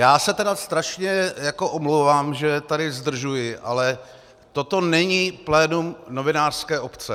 Já se tedy strašně omlouvám, že tady zdržuji, ale toto není plénum novinářské obce.